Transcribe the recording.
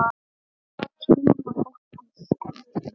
Og kynna fólkið sitt.